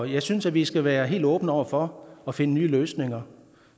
jeg synes vi skal være helt åbne over for at finde nye løsninger